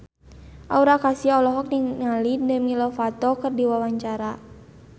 Aura Kasih olohok ningali Demi Lovato keur diwawancara